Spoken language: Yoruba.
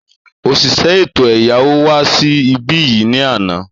Òṣìṣẹ́ ètò ẹ̀yáwó wá sí ibí yìí ni àná